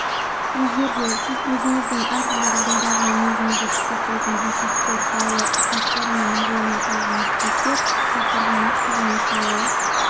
егерде сіз өзіңіздің әр-түрлі жағдайдағы мінезіңізді сипаттайтын ерекшеліктер жайлы ұсыныстар мен мағлұмат алғыңыз келсе сұрақтарға нақты және шынайы